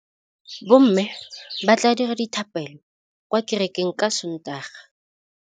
Bommê ba tla dira dithapêlô kwa kerekeng ka Sontaga.